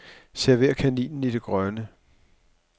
Server kaninen i det grønne.